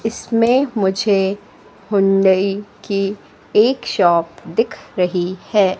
इसमें मुझे हुंडई की एक शॉप दिख रही है।